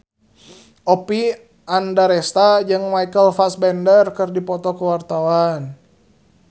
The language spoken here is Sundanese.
Oppie Andaresta jeung Michael Fassbender keur dipoto ku wartawan